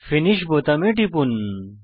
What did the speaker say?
finish বোতামে টিপুন